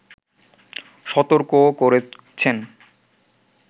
সতর্কও করেছেন